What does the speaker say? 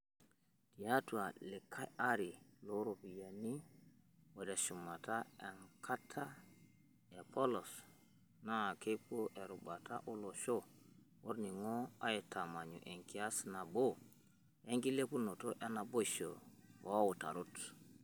Tiatu likay are loo ropiyiani o teshumata enkata e polos, naakepuo erubata olosho olning'o aitamanyu enkias nabo, enkilepunoto enaboisho o utarot.